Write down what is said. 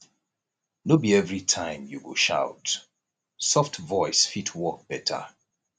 no be every time you go shout soft voice fit work better